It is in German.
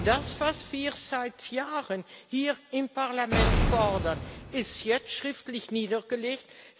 Das, was wir seit Jahren hier im Parlament fordern, ist jetzt schriftlich niedergelegt.